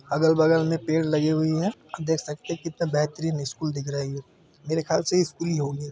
अगल-बगल में पेड़ लगी हुई है आप देख सकते हैं कितना बेहतरीन स्कूल दिख रहा है ये मेरे ख्याल से स्कूल ही होंगे।